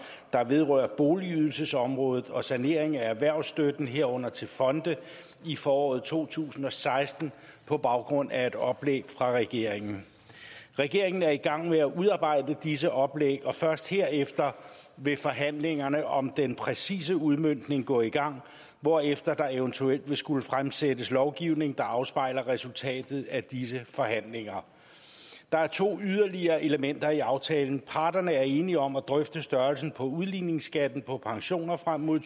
der vedrører boligydelsesområdet og sanering af erhvervsstøtten herunder til fonde i foråret to tusind og seksten på baggrund af et oplæg fra regeringen regeringen er i gang med at udarbejde disse oplæg og først herefter vil forhandlingerne om den præcise udmøntning gå i gang hvorefter der eventuelt vil skulle fremsættes lovgivning der afspejler resultatet af disse forhandlinger der er to yderligere elementer i aftalen parterne er enige om at drøfte størrelsen på udligningsskatten på pensioner frem mod